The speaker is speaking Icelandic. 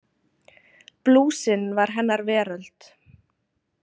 Blúsinn var hennar veröld.